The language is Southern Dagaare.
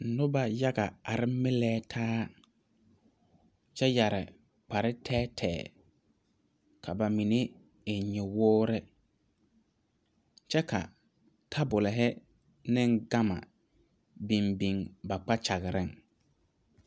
Noba yaga la are melletaa kyɛ su kpareteɛteɛ. Ba mine eŋla nyɔboowuo kyɛ ka tabol ane gama biŋ a ba kpakyaga pʋɔ.